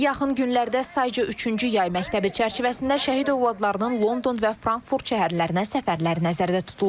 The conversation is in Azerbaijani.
Yaxın günlərdə sayca üçüncü yay məktəbi çərçivəsində şəhid övladlarının London və Frankfurt şəhərlərinə səfərləri nəzərdə tutulur.